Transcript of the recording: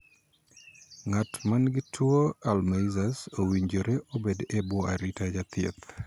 Ng'at man gi tuo 'Alzheimers' owinjore obed e bwo arita jathieth.